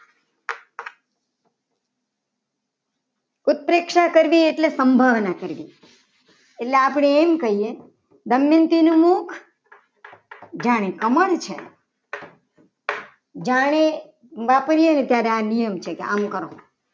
ઉત્પ્રેક્ષા કરવી એટલે સંભાવના કરવી. એટલે આપણે એમ કહીએ. દમયંતી નું મુખ જાની કમળ છે. જાણે વાપરીએને ત્યારે આ નિયમ ઉત્પ્રેક્ષા અલંકાર હોય.